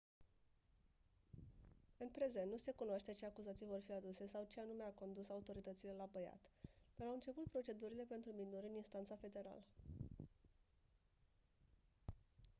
în prezent nu se cunoaște ce acuzații vor fi aduse sau ce anume a condus autoritățile la băiat dar au început procedurile pentru minori în instanța federală